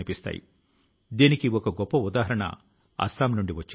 కావి చిత్రకళ భారతదేశం ప్రాచీన చరిత్ర ను తన లో ఇముడ్చుకొంది